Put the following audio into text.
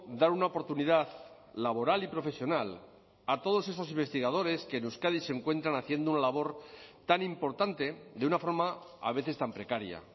dar una oportunidad laboral y profesional a todos esos investigadores que en euskadi se encuentran haciendo una labor tan importante de una forma a veces tan precaria